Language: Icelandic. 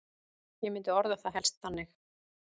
Ég myndi orða það helst þannig.